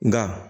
Nga